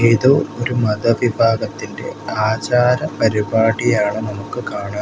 ഏതോ ഒരു മത വിഭാഗത്തിന്റെ ആചാര പരുപാടിയാണ് നമുക്ക് കാണാൻ--